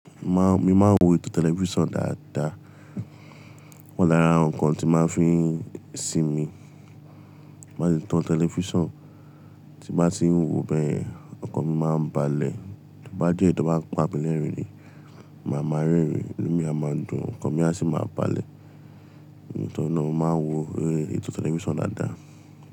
Má n, mi máa ń wo ètò tẹlifísàn dáadáa. O wa lára àwọn nǹkan tí máa ń fi ń sinmi. Tí n bá ti tan television, tí n bá ti ń wò bẹ́yen, ọkàn mi máa ń balẹ̀. Bí bá de tò bá ń pa pelẹ́rìn-ín mi, màá máa rẹ́rìn-ín, inú mi a máa dùn, ọkàn mi a sì máa balẹ̀. Nítorí náà, mo máa ń wo eré ètò tẹlifísàn dáadáa.